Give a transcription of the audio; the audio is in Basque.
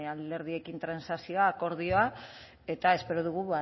alderdiekin transakzioa akordioa eta espero dugu